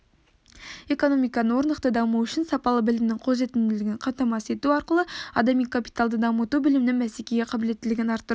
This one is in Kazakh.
экономиканың орнықты дамуы үшін сапалы білімнің қолжетімділігін қамтамасыз ету арқылы адами капиталды дамыту білімнің бәсекеге қабілеттілігін арттыру